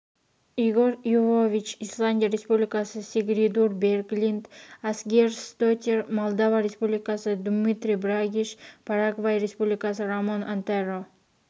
игорь йовович исландия республикасы сигридур берглинд асгейрсдоттир молдова республикасы думитру брагиш парагвай республикасы рамон антеро